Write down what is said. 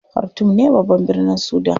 Khartoum ne babban birnin Sudan.